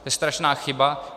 To je strašná chyba.